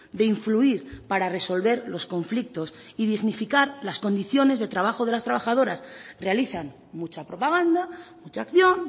de influir para resolver los conflictos y dignificar las condiciones de trabajo de las trabajadoras realizan mucha propaganda mucha acción